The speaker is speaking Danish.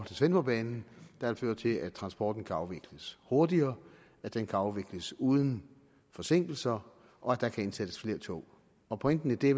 til svendborgbanen der vil føre til at transporten kan afvikles hurtigere at den kan afvikles uden forsinkelser og at der kan indsættes flere tog og pointen i det